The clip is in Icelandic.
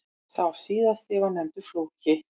Sá síðari var nefndur Flóki.